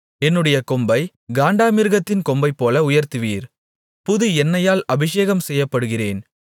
என்னுடைய கொம்பைக் காண்டாமிருகத்தின் கொம்பைப்போல உயர்த்துவீர் புது எண்ணெயால் அபிஷேகம் செய்யப்படுகிறேன்